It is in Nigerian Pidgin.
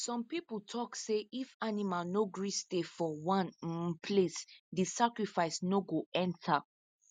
some people tok say if animal no gree stay for one um place the sacrifice no go enter